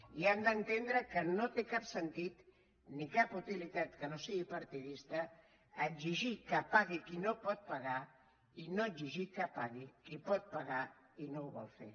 i han d’entendre que no té cap sentit ni cap utilitat que no sigui partidista exigir que pagui qui no pot pagar i no exigir que pagui qui pot pagar i no ho vol fer